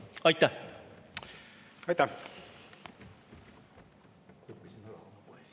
Aitäh!